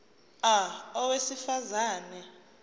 a owesifaz ane